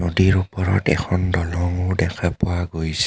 নদীৰ ওপৰত এখন দলংও দেখা পোৱা গৈছে।